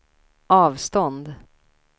avstånd